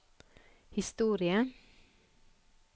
historie